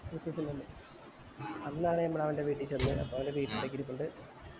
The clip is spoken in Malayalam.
അന്നാണ് നമ്മൾ അവൻ്റെ വീട്ടിൽ ചെന്നേ അപ്പൊ അവൻ്റെ വീട്ടുകാര് ഒക്കെ ഇരിപ്പുണ്ട്